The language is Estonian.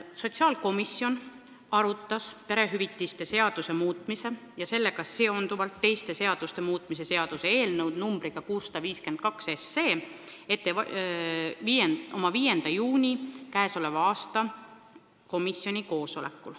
Sotsiaalkomisjon arutas perehüvitiste seaduse muutmise ja sellega seonduvalt teiste seaduste muutmise seaduse eelnõu numbriga 652 oma koosolekul 5. juunil.